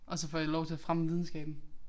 Og så får jeg lov til at fremme videnskaben